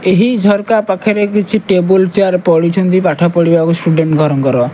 ଏହି ଝରକା ପାଖରେ କିଛି ଟେବୁଲ୍ ଚେୟାର୍ ପଡିଚିନ୍ତି ପାଠପଢିବାକୁ ଷ୍ଟୁଡେଣ୍ଟ୍ ଘର ଙ୍କର।